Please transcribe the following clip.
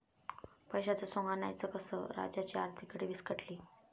पैशाचं सोंग आणायचं कसं? राज्याची आर्थिक घडी विस्कटली!